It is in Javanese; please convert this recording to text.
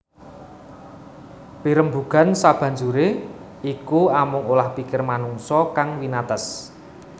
Pirembugan sabanjuré iku amung olah pikir manungsa kang winates